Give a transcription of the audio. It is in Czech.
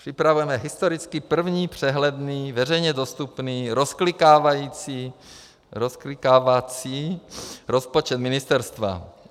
Připravujeme historicky první přehledný, veřejně dostupný rozklikávací rozpočet ministerstva.